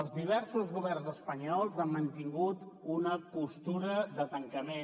els diversos governs espanyols han mantingut una postura de tancament